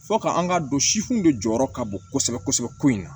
Fɔ ka an ka don sifinw de jɔyɔrɔ ka bon kosɛbɛ kosɛbɛ ko in na